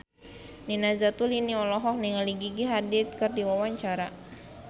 Nina Zatulini olohok ningali Gigi Hadid keur diwawancara